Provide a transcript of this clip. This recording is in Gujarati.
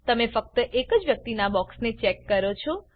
તમે ફક્ત એ જ વ્યક્તિનાં બોક્સને ચેક કરો છો